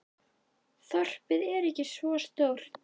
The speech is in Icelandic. Þorpið er ekki svo stórt.